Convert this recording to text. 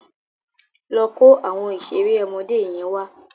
Lọ kó àwọn ìṣeré ọmọdé yẹn wá.